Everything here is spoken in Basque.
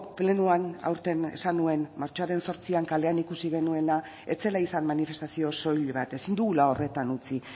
plenoan aurten esan nuen martxoaren zortzian kalean ikusi genuena ez zela izan manifestazio soil bat ezin dugula horretan utzi